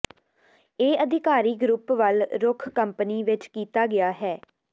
ਇਹ ਅਧਿਕਾਰੀ ਗਰੁੱਪ ਵੱਲ ਰੁਖ਼ ਕੰਪਨੀ ਵਿੱਚ ਕੀਤਾ ਗਿਆ ਹੈ